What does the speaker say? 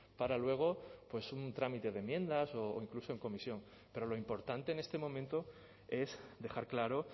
para luego pues un trámite de enmiendas o incluso en comisión pero lo importante en este momento es dejar claro